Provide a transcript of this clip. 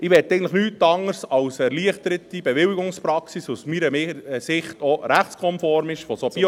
Ich möchte nichts anderes als eine erleichterte Bewilligungspraxis – was aus meiner Sicht auch rechtskonform ist – für solche …